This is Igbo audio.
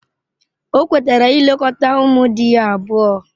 O kwetara ilekọta ụmụ di ya abụọ.